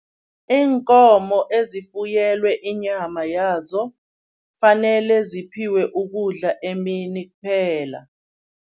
Iinkomo ezifuyelwe inyama yazo fanele ziphiwe ukudla emini kuphela.